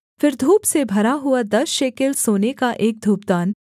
फिर धूप से भरा हुआ दस शेकेल सोने का एक धूपदान